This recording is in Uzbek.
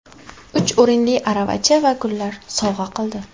Uch o‘rinli aravacha va gullar sovg‘a qildi.